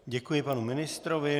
Děkuji panu ministrovi.